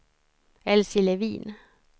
Elsie Levin